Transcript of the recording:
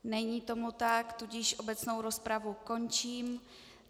Není tomu tak, tudíž obecnou rozpravu končím.